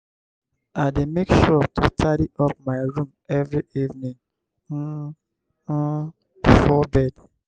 i dey make sure to tidy up my room every evening um um before bed.